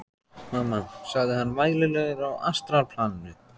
Mamma, sagði hann vælulegur á astralplaninu.